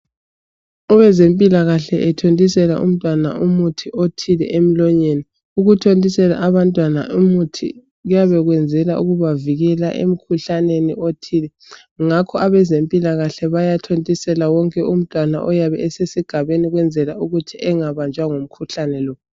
abezempilakahle ethontisela umntwana umuthi othile emlonyeni ukuthontisela abantwana umuthi kuyabayenza ukubavikela emkhuhlaneni othile ngakho abezempilakahle bayathontisela wonke umntana oyabe esesigabeni ukwenzela ukuba engabanjwa yimhuhlane le